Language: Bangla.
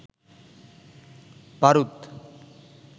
বারুদ